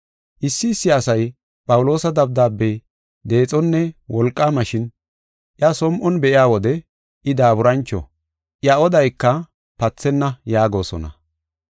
Issi issi asay, “Phawuloosa dabdaabey deexonne wolqaama, shin iya som7on be7iya wode I daaburancho; iya odayka pathenna” yaagosona.